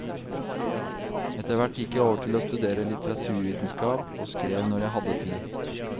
Etterhvert gikk jeg over til å studere litteraturvitenskap og skrev når jeg hadde tid.